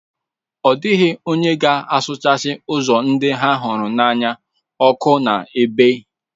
Ọ dịghị onye ga-achụsasị ozu ndị ha hụrụ n'anya ọkụ n'ebe a.